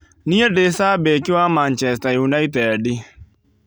Nie ndĩ cambĩki wa Mancheater ũnited